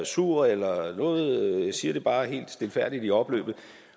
sur eller noget jeg siger det bare helt stilfærdigt i opløbet